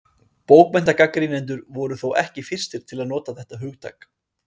Bókmenntagagnrýnendur voru þó ekki fyrstir til að nota þetta hugtak.